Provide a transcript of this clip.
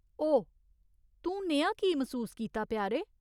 ओह्, तूं नेहा की मसूस कीता, प्यारे ?